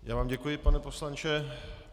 Já vám děkuji, pane poslanče.